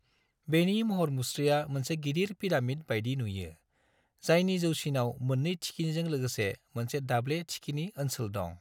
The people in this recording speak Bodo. बेनि महर-मुस्रिया मोनसे गिदिर पिरामिड बायदि नुयो, जायनि जौसिनाव मोननै थिखिनिजों लोगोसे मोनसे दाब्ले थिखिनि ओनसोल दं।